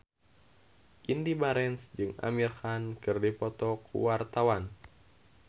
Indy Barens jeung Amir Khan keur dipoto ku wartawan